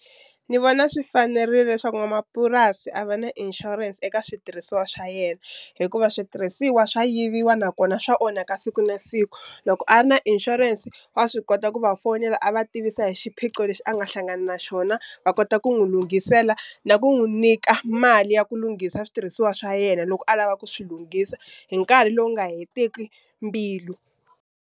Ni vona swi fanerile leswaku n'wamapurasi a va na insurance eka switirhisiwa swa yena, hikuva switirhisiwa swa yiviwa nakona swa onhaka siku na siku. Loko a ri na insurance wa swi kota ku va fonela a va tivisa hi xiphiqo lexi a nga hlangana na xona va kota ku n'wu lunghisela na ku n'wu nyika mali ya ku lunghisa switirhisiwa swa yena loko a lava ku swi lunghisa hi nkarhi lowu nga heteki mbilu.